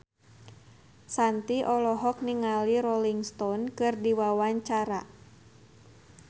Shanti olohok ningali Rolling Stone keur diwawancara